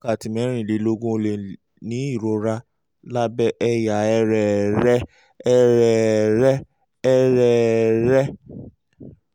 lẹ́yìn wákàtí mẹ́rìnlélógún ó lè ní ìrora lábẹ́ ẹ̀yà